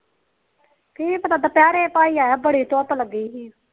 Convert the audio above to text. ਕੀ ਪਤਾ ਦੁਪਿਹਰੇ ਭਾਈ ਆਇਆ ਬੜੀ ਧੂਪ ਲੱਗੀ ਸੀ